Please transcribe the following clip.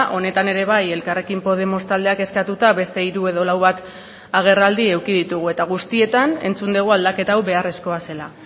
honetan ere bai elkarrekin podemos taldeak eskatuta beste hiru edo lau bat agerraldi eduki ditugu eta guztietan entzun dugu aldaketa hau beharrezkoa zela